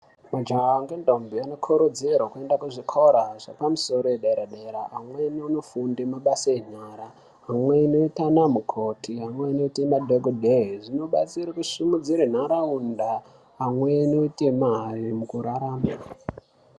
Majaha nendombi vanokurudzirwa kuti vaende kuzvikora zvepamusoro zvepadera dera. Amweni vonofunda mabasa enyara. Amweni oite anamukoti . Amweni oite madhokodheya. Zvinobatsire kusimudzira nharaunda pamwe nekuite mare mukurarama.